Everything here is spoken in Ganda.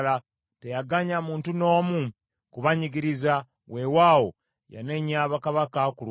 Teyaganya muntu n’omu kubanyigiriza; weewaawo, yanenya bakabaka ku lwabwe: